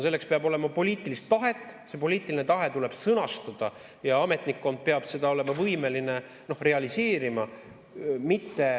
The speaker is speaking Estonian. Selleks peab olema poliitilist tahet, see poliitiline tahe tuleb sõnastada ja ametnikkond peab olema võimeline seda realiseerima.